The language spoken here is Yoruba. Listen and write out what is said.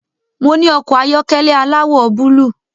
Mo ní ọkọ̀ ayọ́kẹ́lẹ́ aláwọ̀ búlúù